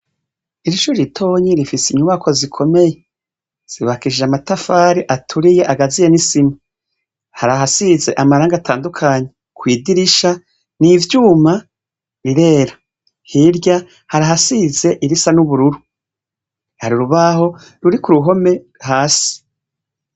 Ishure ritoyi rifise inyubakwa zikomeye zubakishijwe amatafari aturiye agajemwo isima hari ahasize amaragi atadukanye, kwidirisha n'ivyuma birera, hirya hari ahasize irisa n'ubururu, hari urubaho ruri kuruhome hasi.